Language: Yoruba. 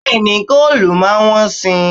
Bẹ́ẹ̀ni, góòlù máa wọ́n si.